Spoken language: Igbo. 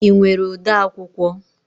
Ị nwere ode akwụkwọ?